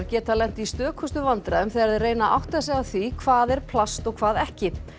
geta lent í stökustu vandræðum þegar þeir reyna að átta sig á því hvað er plast og hvað ekki